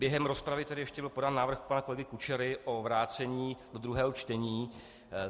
Během rozpravy tedy ještě byl podán návrh pana kolegy Kučery na vrácení do druhého čtení.